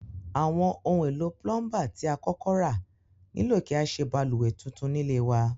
Àwon oun èlò plumber ti a kókó ra nílò kí a sé balùwè tuntun nílé wa